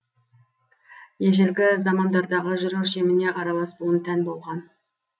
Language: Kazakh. ежелгі замандардағы жыр өлшеміне аралас буын тән болған